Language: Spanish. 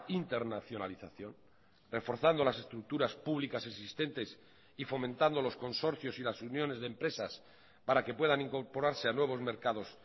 internacionalización reforzando las estructuras públicas existentes y fomentando los consorcios y las uniones de empresas para que puedan incorporarse a nuevos mercados